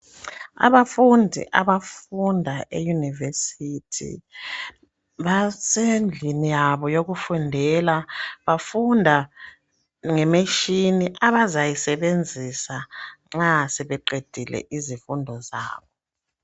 Abafundi abafunda eyunivesithi basendlini yabo yokufundela bafunda ngemetshini abazayisebenzisa nxa sebeqedile izifundo zabo.